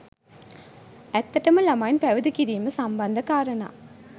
ඇත්තටම ළමයින් පැවිදි කිරීම සම්බන්ධ කාරණා